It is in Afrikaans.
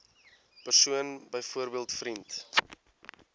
persoon byvoorbeeld vriend